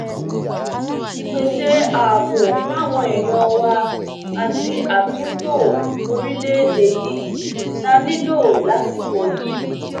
ìpèsè ààbò fáwọn èèyàn wa àti àtúntò orílẹèdè yìí la nílò lásìkò yìí